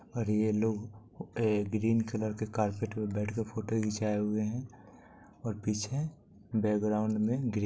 और ये लोग ए -ग्रीन कलर के कार्पेट पे बैठ के फोटो खिचाए हुए है ओर पीछे बैग्राउंड मे ग्रे--